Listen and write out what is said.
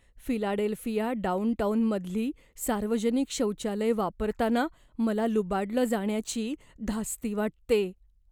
Philadelphia डाउनटाउनमधली सार्वजनिक शौचालयं वापरताना मला लुबाडलं जाण्याची धास्ती वाटते.